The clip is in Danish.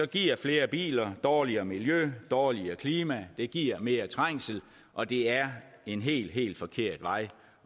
giver flere biler dårligere miljø dårligere klima det giver mere trængsel og det er en helt helt forkert vej